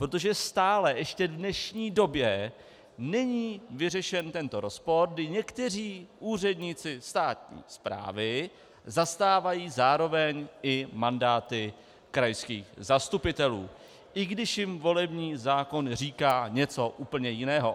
Protože stále ještě v dnešní době není vyřešen tento rozpor, kdy někteří úředníci státní správy zastávají zároveň i mandáty krajských zastupitelů, i když jim volební zákon říká něco úplně jiného.